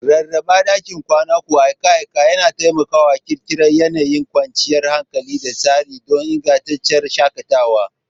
Rarraba ɗakin kwanan ku akai-akai yana taimakawa ƙirƙirar yanayin kwanciyar hankali da tsari don ingantacciyar shakatawa.